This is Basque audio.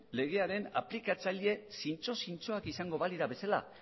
legearen aplikatzaile zintzo zintzoak izango balira bezala